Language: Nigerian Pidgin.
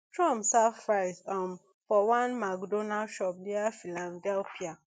trump serve fries um for one mcdonald shop near philandelphia